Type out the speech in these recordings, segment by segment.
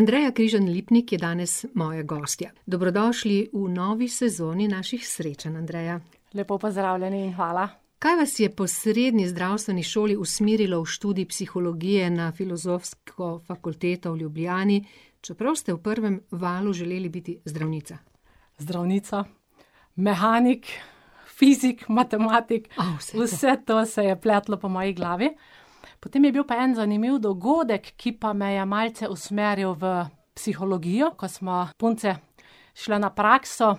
Andreja Križan Lipnik je danes moja gostja. Dobrodošli v novi sezoni naših srečanj, Andreja. Lepo pozdravljeni, hvala. Kaj vas je po srednji zdravstveni šoli usmerilo v študij psihologije na Filozofsko fakulteto v Ljubljani, čeprav ste v prvem valu želeli biti zdravnica? Zdravnica, mehanik, fizik, matematik ... vse to ... Vse to se je pletlo po moji glavi. Potem je bil pa en zanimiv dogodek, ki pa me je malce usmeril v psihologijo, ko smo punce šle na prakso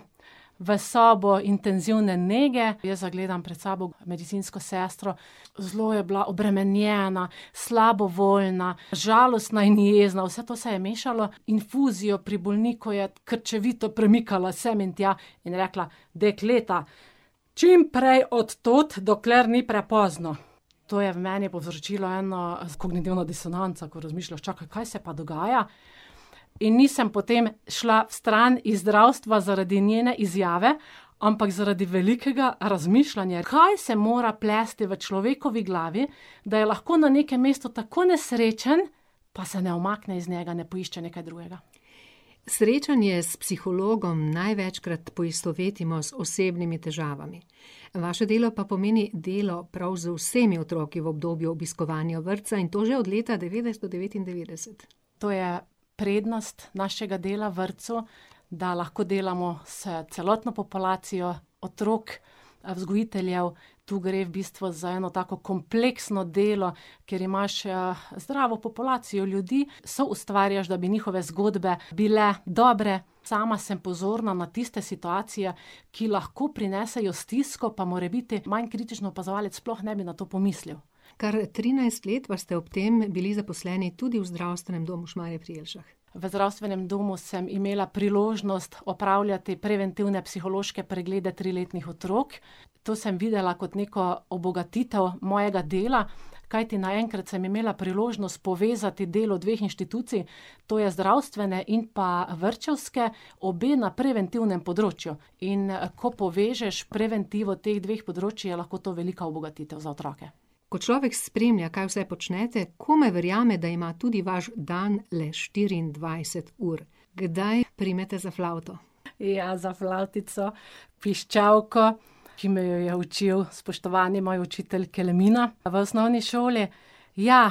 v sobo intenzivne nege, jaz zagledam pred sabo medicinsko sestro, zelo je bila obremenjena, slabovoljna, žalostna in jezna, vse to se je mešalo. Infuzijo pri bolniku je krčevito premikala sem in tja in rekla: "Dekleta, čimprej od tod, dokler ni prepozno." To je v meni povzročilo eno kognitivno disonanco, ko razmišljaš, čakaj, kaj se pa dogaja? In nisem potem šla stran iz zdravstva zaradi njene izjave, ampak zaradi velikega razmišljanja, kaj se mora plesti v človekovi glavi, da je lahko na nekem mestu tako nesrečen, pa se ne umakne iz njega, ne poišče nekaj drugega. Srečanje s psihologom največkrat poistovetimo z osebnimi težavami. Vaše delo pa pomeni delo prav z vsemi otroki v obdobju obiskovanja vrtca, in to že od leta devetnajststo devetindevetdeset. To je prednost našega dela v vrtcu, da lahko delamo s celotno populacijo otrok, vzgojiteljev, tu gre v bistvu za eno tako kompleksno delo, kjer imaš, zdravo populacijo ljudi, soustvarjaš, da bi njihove zgodbe bile dobre. Sama sem pozorna na tiste situacije, ki lahko prinesejo stisko, pa morebiti manj kritičen opazovalec sploh ne bi na to pomislil. Kar trinajst let pa ste ob tem bili zaposleni tudi v zdravstvenem domu Šmarje pri Jelšah. V zdravstvenem domu sem imela priložnost opravljati preventivne psihološke preglede triletnih otrok. To sem videla kot neko obogatitev mojega dela, kajti naenkrat sem imela priložnost povezati delo dveh inštitucij, to je zdravstvene in pa vrtčevske, obe na preventivnem področju. In, ko povežeš preventivo teh dveh področij, je lahko to velika obogatitev za otroke. Ko človek spremlja, kaj vse počnete, komaj verjame, da ima tudi vaš dan le štiriindvajset ur. Kdaj primete za flavto? Ja, za flavtico, piščalko, ki me je jo učil spoštovani moj učitelj Kelemina v osnovni šoli. Ja,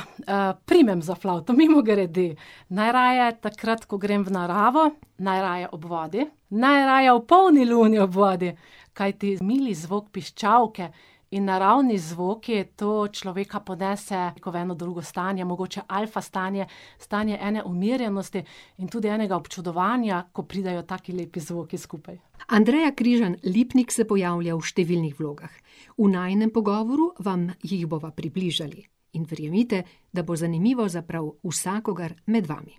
primem za flavto, mimogrede. Najraje takrat, ko grem v naravo, najraje ob vodi, najraje ob polni luni ob vodi! Kajti mili zvok piščalke in naravni zvoki, to človeka ponese ko v eno drugo stanje, mogoče alfa stanje, stanje ene umirjenosti in tudi enega občudovanja, ko pridejo taki lepi zvoki skupaj. Andreja Križan Lipnik se pojavlja v številnih vlogah. V najinem pogovoru vam jih bova približali. In verjemite, da bo zanimivo za prav vsakogar med vami.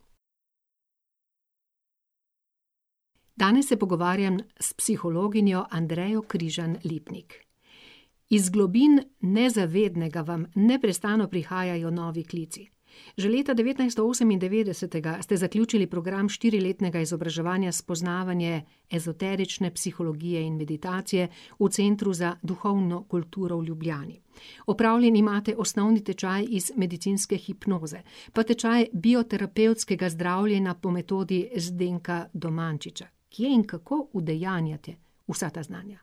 Danes se pogovarjam s psihologinjo Andrejo Križan Lipnik. Iz globin nezavednega vam neprestano prihajajo novi klici. Že leta devetnajststo osemindevetdesetega ste zaključili program štiriletnega izobraževanja Spoznavanje ezoterične psihologije in meditacije v Centru za duhovno kulturo v Ljubljani. Opravljen imate osnovni tečaj iz medicinske hipnoze pa tečaj bioterapevtskega zdravljenja po metodi Zdenka Domančiča. Kje in kako udejanjate vsa ta znanja?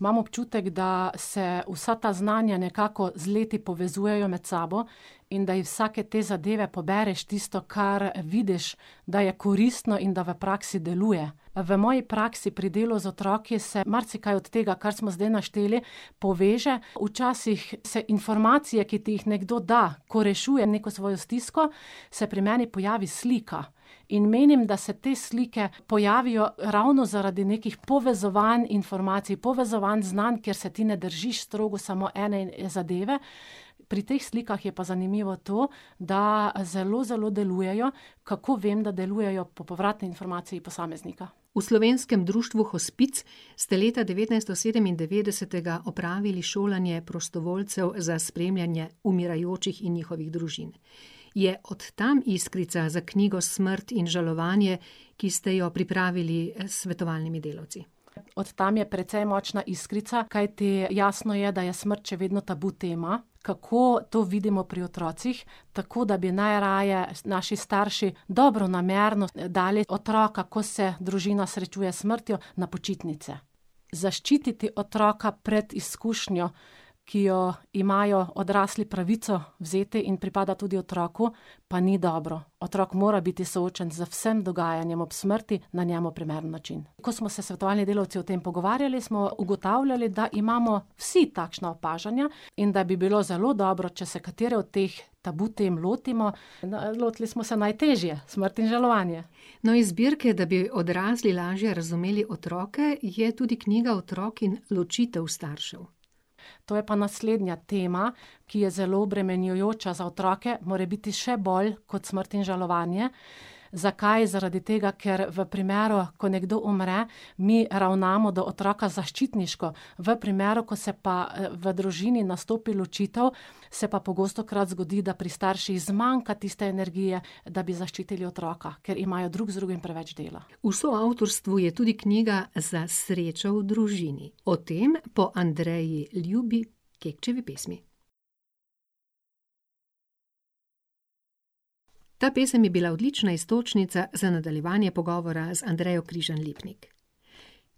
Imam občutek, da se vsa ta znanja nekako z leti povezujejo med sabo in da iz vsake te zadeve pobereš tisto, kar vidiš, da je koristno in da v praksi deluje. V moji praksi pri delu z otroki se marsikaj od tega, kar smo zdaj našteli, poveže, včasih se informacije, ki ti jih nekdo da, ko rešuje neko svojo stisko, se pri meni pojavi slika. In menim, da se te slike pojavijo ravno zaradi nekih povezovanj informacij, povezovanj znanj, ker se ti ne držiš strogo samo ene zadeve. Pri teh slikah je pa zanimivo to, da zelo zelo delujejo. Kako vem, da delujejo: po povratni informaciji posameznika. V slovenskem društvu Hospic ste leta devetnajststo sedemindevetdesetega opravili šolanje prostovoljcev za spremljanje umirajočih in njihovih družin. Je od tam iskrica za knjigo Smrt in žalovanje, ki se jo pripravili s svetovalnimi delavci? Od tam je precej močna iskrica, kajti jasno je, da je smrt še vedno tabu tema. Kako to vidimo pri otrocih? Tako, da bi najraje naši starši dobronamerno dali otroka, ko se družina srečuje s smrtjo, na počitnice. Zaščititi otroka pred izkušnjo, ki jo imajo odrasli pravico vzeti in pripada tudi otroku, pa ni dobro. Otrok mora biti soočen z vsem dogajanjem ob smrti na njemu primeren način. Ko smo se svetovalni delavci o tem pogovarjali, smo ugotavljali, da imamo vsi takšna opažanja in da bi bilo zelo dobro, če se katere od teh tabu tem lotimo, lotili smo se najtežje, smrt in žalovanje. No, iz zbirke, da bi odrasli lažje razumeli otroke, je tudi knjiga Otrok in ločitev staršev. To je pa naslednja tema, ki je zelo obremenjujoča za otroke, morebiti še bolj kot smrt in žalovanje. Zakaj? Zaradi tega, ker v primeru, ko nekdo umre, mi ravnamo, da otroka zaščitniško v primeru, ko se pa, v družini nastopi ločitev, se pa pogostokrat zgodi, da pri starših zmanjka tiste energije, da bi zaščitili otroka, ker imajo drug z drugim preveč dela. Vse avtorstvo je tudi knjiga Za srečo v družini. O tem po Andreji ljubi Kekčevi pesmi. Ta pesem je bila odlična iztočnica za nadaljevanje pogovora z Andrejo Križan Lipnik.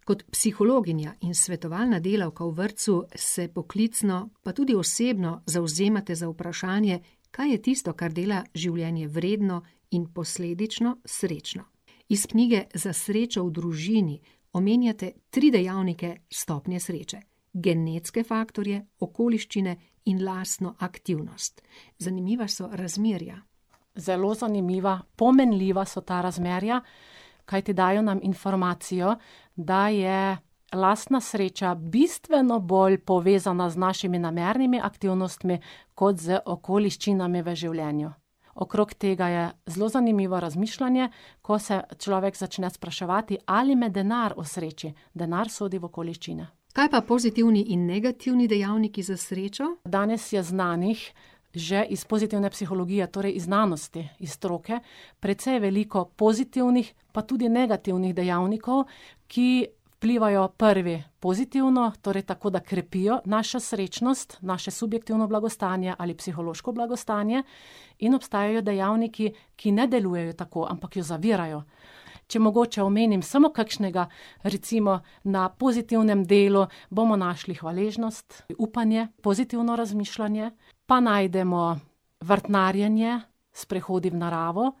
Kot psihologinja in svetovalna delavka v vrtcu se poklicno, pa tudi osebno zavzemate za vprašanje, kaj je tisto, kar dela življenje vredno in posledično srečno. Iz knjige Za srečo v družini omenjate tri dejavnike stopnje sreče. Genetske faktorje, okoliščine in lastno aktivnost. Zanimiva so razmerja. Zelo zanimiva, pomenljiva so ta razmerja, kajti dajo nam informacijo, da je lastna sreča bistveno bolj povezana z našimi namernimi aktivnostmi kot z okoliščinami v življenju. Okrog tega je zelo zanimivo razmišljanje, ko se človek začne spraševati: "Ali me denar osreči?" Denar sodi v okoliščine. Kaj pa pozitivni in negativni dejavniki za srečo? Danes je znanih že iz pozitivne psihologije, torej iz znanosti, iz stroke, precej veliko pozitivnih, pa tudi negativnih dejavnikov, ki vplivajo, prvi, pozitivno, torej tako, da krepijo našo srečnost, naše subjektivno blagostanje ali psihološko blagostanje, in obstajajo dejavniki, ki ne delujejo tako, ampak jo zavirajo. Če mogoče omenim samo kakšnega, recimo na pozitivnem delu bomo našli hvaležnost, upanje, pozitivno razmišljanje, pa najdemo vrtnarjenje, sprehodi v naravo ...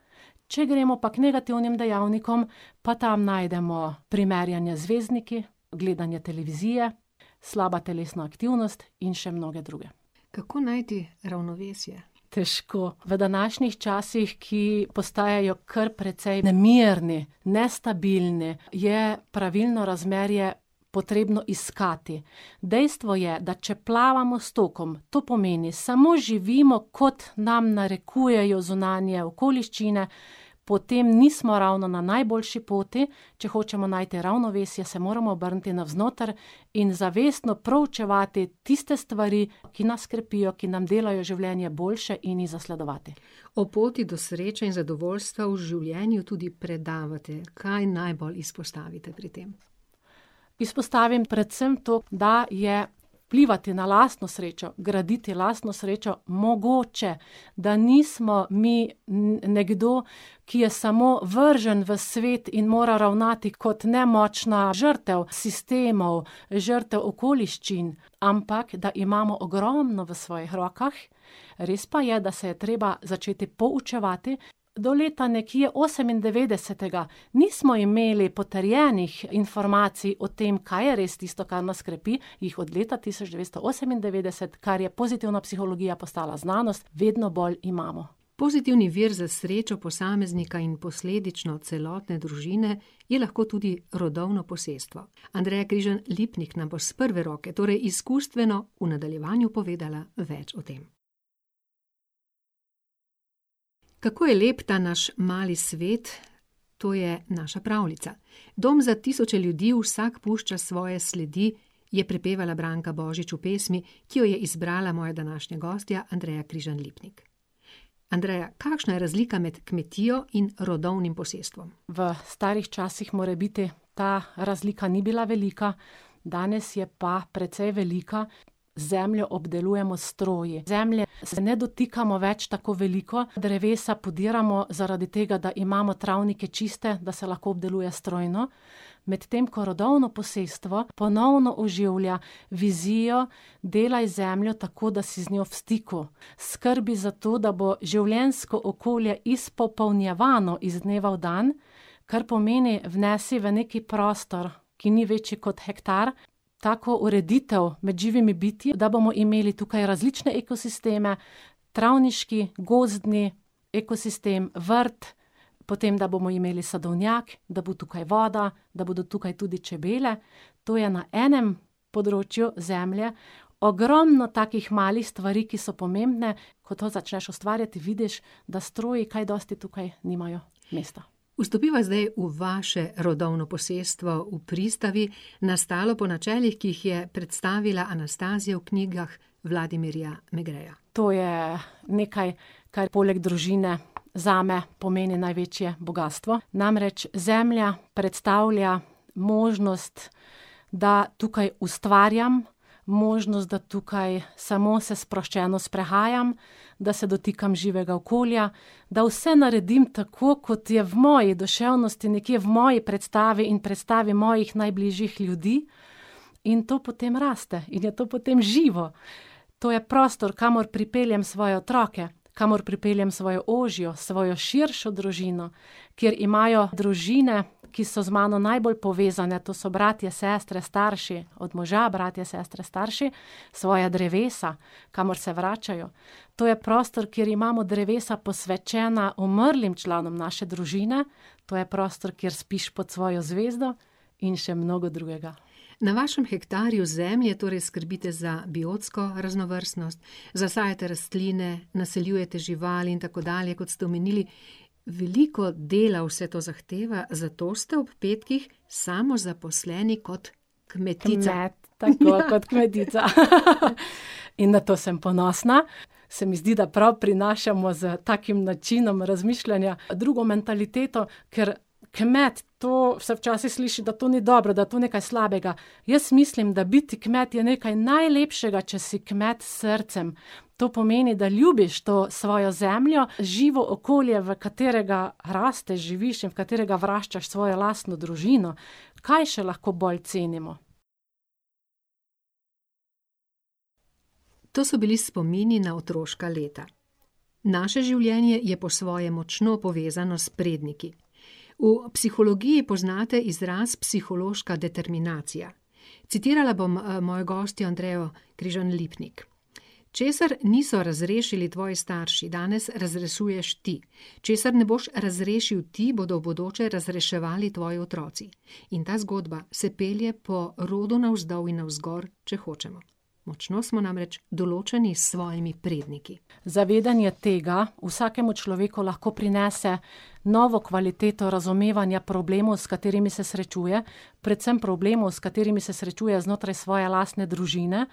Če gremo pa k negativnim dejavnikom, pa tam najdemo primerjanje z zvezdniki, gledanje televizije, slaba telesna aktivnost in še mnoge druge. Kako najti ravnovesje? Težko. V današnjih časih, ki postajajo kar precej nemirni, nestabilni, je pravilno razmerje potrebno iskati. Dejstvo je, da če plavamo s tokom, to pomeni samo živimo, kot nam narekujejo zunanje okoliščine, potem nismo ravno na najboljši poti, če hočemo najti ravnovesje, se moramo obrniti navznoter in zavestno proučevati tiste stvari, ki nas krepijo, ki nam delajo življenje boljše, in jih zasledovati. O poti do sreče in zadovoljstev v življenju tudi predavate. Kaj najbolj izpostavite pri tem? Izpostavim predvsem to, da je vplivati na lastno srečo, graditi lastno srečo mogoče. Da nismo mi nekdo, ki je samo vržen v svet in mora ravnati kot nemočna žrtev sistemov, žrtev okoliščin, ampak da imamo ogromno v svojih rokah. Res pa je, da se je treba začeti poučevati. Do leta nekje osemindevetdesetega nismo imeli potrjenih informacij o tem, kaj je res tisto, kar nas krepi, jih od leta tisoč devetsto osemindevetdeset, kar je pozitivna psihologija postala znanost, vedno bolj imamo. Pozitivni vir za srečo posameznika in posledično celotne družine je lahko tudi rodovno posestvo. Andreja Križan Lipnik nam bo s prve roke, torej izkustveno, v nadaljevanju povedala več o tem. Kako je lep ta naš mali svet, to je naša pravljica, dom za tisoče ljudi, vsak pušča svoje sledi, je prepevala Branka Božič v pesmi, ki jo je izbrala moja današnja gostja Andreja Križan Lipnik. Andreja, kakšna je razlika med kmetijo in rodovnim posestvom? V starih časih morebiti ta razlika ni bila velika, danes je pa precej velika, zemljo obdelujemo s stroji. Zemlje se ne dotikamo več tako veliko, drevesa podiramo zaradi tega, da imamo travnike čiste, da se lahko obdeluje strojno, medtem ko rodovno posestvo ponovno oživlja vizijo delaj z zemljo, tako da si z njo v stiku, skrbi za to, da bo življenjsko okolje izpopolnjevano iz dneva v dan, kar pomeni vnesi v neki prostor, ki ni večji kot hektar, tako ureditev med živimi bitji, da bomo imeli tukaj različne ekosisteme, travniški, gozdni ekosistem, vrt, potem, da bomo imeli sadovnjak, da bo tukaj voda, da bodo tukaj tudi čebele ... To je na enem področju zemlje ogromno takih malih stvari, ki so pomembne. Ko to začneš ustvarjati, vidiš, da stroji kaj dosti tukaj nimajo mesta. Vstopiva zdaj v vaše rodovno posestvo v Pristavi, nastalo po načelih, ki jih je predstavila Anastazija v knjigah Vladimirja Negreja. To je nekaj, kar poleg družine zame pomeni največje bogastvo. Namreč zemlja predstavlja možnost, da tukaj ustvarjam, možnost, da tukaj samo se sproščeno sprehajam, da se dotikam živega okolja, da vse naredim tako, kot je v moji duševnosti, nekje v moji predstavi in predstavi mojih najbližjih ljudi, in to potem raste in je to potem živo. To je prostor, kamor pripeljem svoje otroke, kamor pripeljem svojo ožjo, svojo širšo družino, kjer imajo družine, ki so z mano najbolj povezane, to so bratje, sestre, starši, od moža bratje, sestre, starši, svoja drevesa, kamor se vračajo. To je prostor, kjer imamo drevesa posvečena umrlim članom naše družine, to je prostor, kjer spiš pod svojo zvezdo in še mnogo drugega. Na vašem hektarju zemlje torej skrbite za biotsko raznovrstnost, zasajate rastline, naseljujete živali in tako dalje, kot ste omenili. Veliko dela vse to zahteva, zato ste ob petkih samozaposleni kot kmetica. Kmet. Tako, kot kmetica, . In na to sem ponosna. Se mi zdi, da prav prinašamo s takim načinom razmišljanja, drugo mentaliteto, ker kmet, to se včasih sliši, da to ni dobro, da je to nekaj slabega. Jaz mislim, da biti kmet je nekaj najlepšega, če si kmet s srcem. To pomeni, da ljubiš to svojo zemljo, živo okolje, v katerega rasteš, živiš, v katerega vraščaš svojo lastno družino. Kaj še lahko bolj cenimo? To so bili spomini na otroška leta. Naše življenje je po svoje močno povezano s predniki. V psihologiji poznate izraz psihološka determinacija. Citirala bom, mojo gostjo Andrejo Križan Lipnik. Česar niso razrešili tvoji starši, danes razrešuješ ti. Česar ne boš razrešil ti, bodo v bodoče razreševali tvoji otroci. In ta zgodba se pelje po rodu navzdol in navzgor, če hočemo. Močno smo namreč določeni s svojimi predniki. Zavedanje tega vsakemu človeku lahko prinese novo kvaliteto razumevanja problemov, s katerimi se srečuje. Predvsem problemov, s katerimi se srečuje znotraj svoje lastne družine,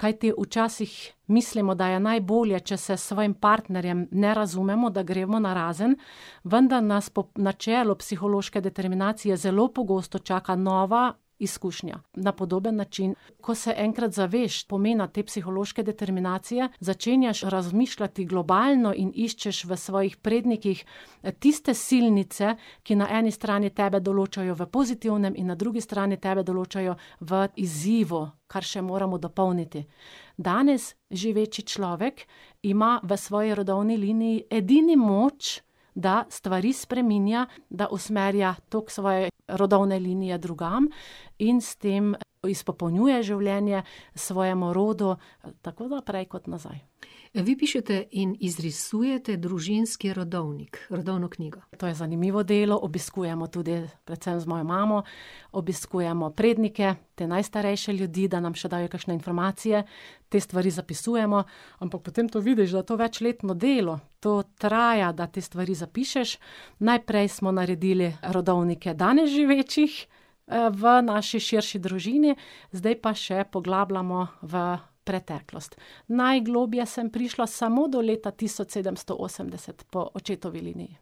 kajti včasih mislimo, da je najbolje, če se svojim partnerjem ne razumemo, da gremo narazen, vendar nas po načelu psihološke determinacije zelo pogosto čaka nova izkušnja na podoben način. Ko se enkrat zaveš pomena te psihološke determinacije, začenjaš razmišljati globalno in iščeš v svojih prednikih, tiste silnice, ki na eni strani tebe določajo v pozitivnem in na drugi strani tebe določajo v izzivu, kar še moramo dopolniti. Danes živeči človek ima v svoji rodovni liniji edini moč, da stvari spreminja da usmerja tako svoje rodovne linije drugam in s tem izpopolnjuje življenje svojemu rodu tako naprej kot nazaj. Vi pišete in izrisujete družinski rodovnik. Rodovno knjigo, to je zanimivo delo, obiskujemo tudi, predvsem z mojo mamo, obiskujemo prednike, te najstarejše ljudi, da nam še dajo kakšne informacije, te stvari zapisujemo, ampak potem to vidiš, da to večletno delo, to traja, da te stvari zapišeš. Najprej smo naredili rodovnike danes živečih, v naši širši družini, zdaj pa še poglabljamo v preteklost. Najgloblje sem prišla samo do leta tisoč sedemsto osemdeset po očetovi liniji.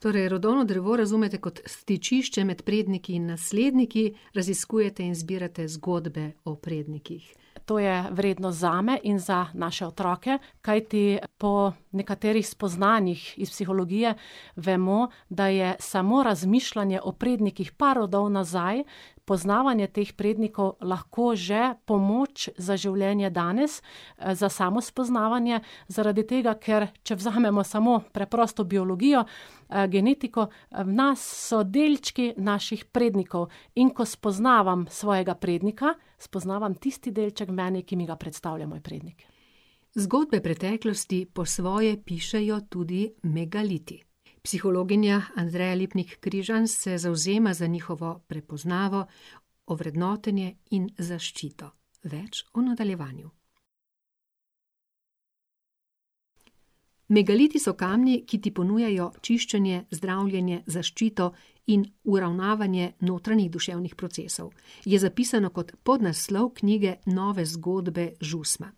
Torej rodovno drevo razumete kot stičišče med predniki in nasledniki, raziskujete in izbirate zgodbe o prednikih. To je vrednost zame in za naše otroke, kajti po nekaterih spoznanjih iz psihologije vemo, da je samo razmišljanje o prednikih par rodov nazaj, poznavanje teh prednikov lahko že pomoč za življenje danes, za samospoznavanje, zaradi tega, ker če vzamemo samo preprosto biologijo, genetiko, v nas so delčki naših prednikov. In ko spoznavam svojega prednika, spoznavam tisti delček mene, ki mi ga predstavlja moj prednik. Zgodbe preteklosti po svoje pišejo tudi megaliti. Psihologinja Andreja Lipnik Križan se zavzema za njihovo prepoznavo, ovrednotenje in zaščito. Več v nadaljevanju. Megaliti so kamni, ki ti ponujajo čiščenje, zdravljenje, zaščito in uravnavanje notranjih duševnih procesov, je zapisano kot podnaslov knjige Nove zgodbe Žusma.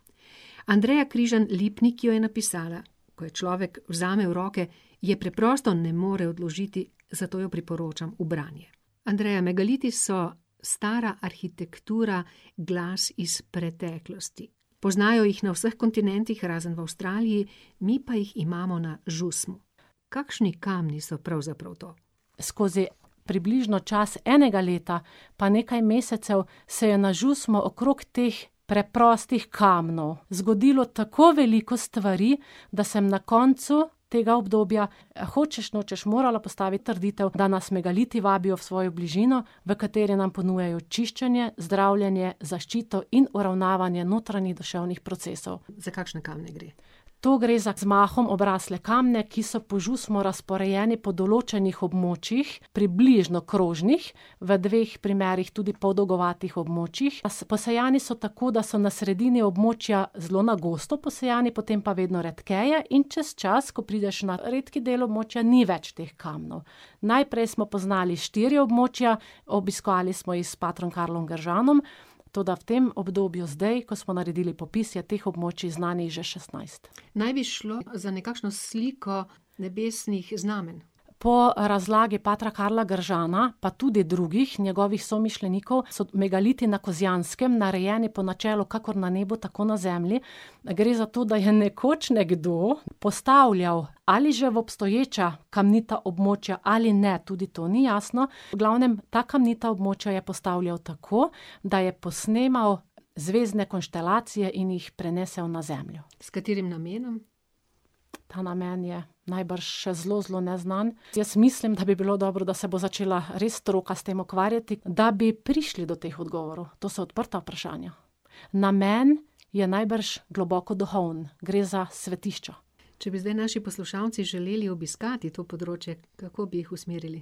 Andreja Križan Lipnik jo je napisala. Ko jo človek vzame v roke, je preprosto ne more odložiti, zato jo priporočam v branje. Andreja, megaliti so stara arhitektura, glas iz preteklosti. Poznajo jih na vseh kontinentih razen v Avstraliji, mi pa jih imamo na Žusmi. Kakšni kamni so pravzaprav to? Skozi približno čas enega leta pa nekaj mesecev se je na Žusmo okrog teh preprostih kamnov zgodilo tako veliko stvari, da sem na koncu tega obdobja hočeš nočeš morala postaviti trditev, da nas megaliti vabijo v svojo bližino, v kateri nam ponujajo čiščenje, zdravljenje, zaščito in uravnavanje notranjih duševnih procesov. Za kakšne kamne gre? To gre za z mahom obrasle kamne, ki so po Žusmu razporejeni po določenih območjih, približno krožnih, v dveh primerih tudi podolgovatih območjih. posejani so tako, da so na sredini območja zelo na gosto posejani, potem pa vedno redkeje, in čez čas, ko prideš na redki del območja, ni več teh kamnov. Najprej smo poznali štiri območja, obiskali smo jih s patrom Karlom Gržanom, toda v tem obdobju zdaj, ko smo naredili popis, je teh območij znanih že šestnajst. Naj bi šlo za nekakšno sliko nebesnih znamenj. Po razlagi patra Karla Gržana pa tudi drugih njegovih somišljenikov so megaliti na Kozjanskem narejeni po načelu: kakor na nebu, tako na zemlji. Gre za to, da je nekoč nekdo postavljal ali že v obstoječa kamnita območja ali ne, tudi to ni jasno, v glavnem, ta kamnita območja je postavljal tako, da je posnemal zvezdne konstelacije in jih prenesel na zemljo. S katerim namenom? Ta namen je najbrž še zelo zelo neznan, jaz mislim, da bi bilo dobro, da se bo začela res stroka s tem ukvarjati, da bi prišli do teh odgovorov. To so odprta vprašanja. Namen je najbrž globoko duhoven. Gre za svetišča. Če bi zdaj naši poslušalci želeli obiskati to področje, kako bi jih usmerili?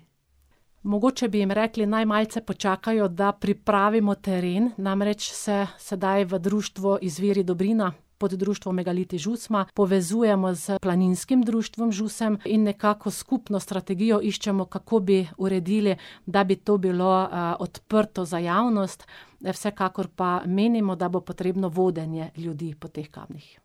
Mogoče bi jim rekli, naj malce počakajo, da pripravimo teren, namreč se sedaj v društvu Izviri dobrina pod društvom Megaliti Žusma povezujemo s Planinskim društvom Žusem in nekako s skupno strategijo iščemo, kako bi uredili, da bi to bilo, odprto za javnost, vsekakor pa menimo, da bo potrebno vodenje ljudi po teh kamnih.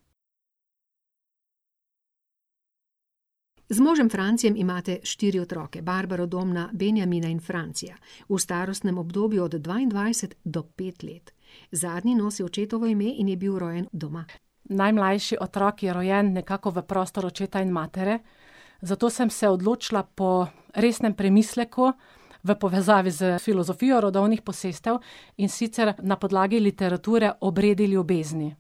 Z možem Francijem imate štiri otroke, Barbaro, Domna, Benjamina in Francija. V starostnem obdobju od dvaindvajset do pet let. Zadnji nosi očetovo ime in je bil rojen doma. Najmlajši otrok je rojen nekako v prostor očeta in matere, zato sem se odločila po resnem premisleku v povezavi s filozofijo rodovnih posestev, in sicer na podlagi literature Obredi ljubezni.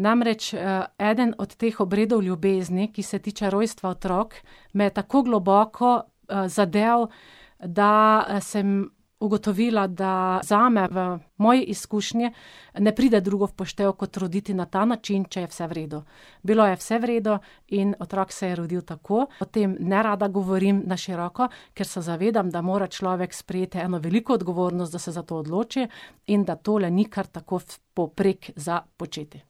Namreč, eden od teh obredov ljubezni, ki se tiče rojstva otrok, me je tako globoko, zadel, da, sem ugotovila, da zame v moji izkušnji ne pride drugo v poštev kot roditi na ta način, če je vse v redu. Bilo je vse v redu in otrok se je rodil tako, o tem nerada govorim na široko, ker se zavedam, da mora človek sprejeti eno veliko odgovornost, da se za to odloči, in da tole ni kar tako v povprek za početi.